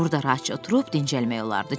Burda rahatca oturub dincəlmək olardı,